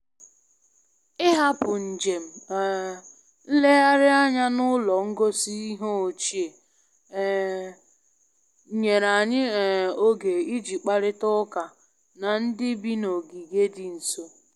Ịhapụ njem um nlegharị anya n'ụlọ ngosi ihe ochie um nyere anyị um oge iji kparịta ụka na ndị bi na ogige dị nso.